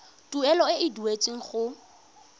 tuelo e e duetsweng go